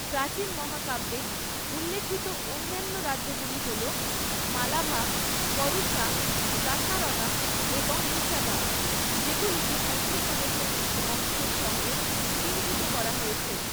প্রাচীন মহাকাব্যে উল্লিখিত অন্যান্য রাজ্যগুলি হল মালাভা, করুশা, দাসারনা এবং নিশাদা যেগুলিকে মধ্যপ্রদেশের কিছু অংশের সঙ্গেও চিহ্নিত করা হয়েছে।